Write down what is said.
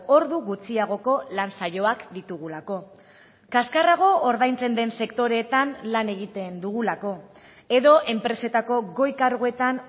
ordu gutxiagoko lan saioak ditugulako kaskarrago ordaintzen den sektoreetan lan egiten dugulako edo enpresetako goi karguetan